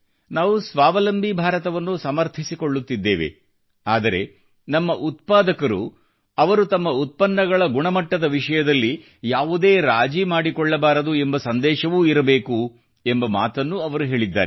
ನಾವು ಸ್ವಾವಲಂಬಿ ಭಾರತವನ್ನು ಸಮರ್ಥಿಸಿಕೊಳ್ಳುತ್ತಿದ್ದೇವೆ ಆದರೆ ನಮ್ಮ ಉತ್ಪಾದಕರು ಅವರು ತಮ್ಮ ಉತ್ಪನ್ನಗಳ ಗುಣಮಟ್ಟದ ವಿಷಯದಲ್ಲಿ ಯಾವುದೇ ರಾಜಿ ಮಾಡಿಕೊಳ್ಳಬಾರದು ಎಂಬ ಸಂದೇಶವೂ ಇರಬೇಕು ಎಂಬ ಮಾತನ್ನೂ ಅವರು ಹೇಳಿದ್ದಾರೆ